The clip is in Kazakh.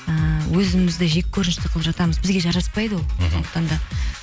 ыыы өзімізді жеккөрінішті қылып жатамыз бізге жараспайды ол мхм сондықтан да